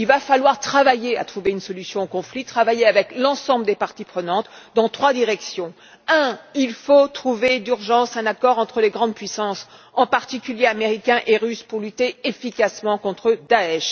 Il va falloir travailler à trouver une solution au conflit, travailler avec l'ensemble des parties prenantes dans trois directions. Premièrement, il faut trouver d'urgence un accord entre les grandes puissances américaine et russe, en particulier, pour lutter efficacement contre Daech.